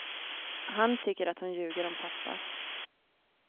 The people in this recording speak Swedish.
Han tycker att hon ljuger om pappa.